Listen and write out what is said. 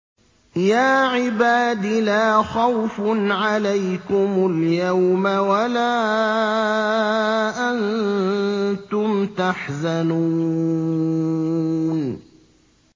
يَا عِبَادِ لَا خَوْفٌ عَلَيْكُمُ الْيَوْمَ وَلَا أَنتُمْ تَحْزَنُونَ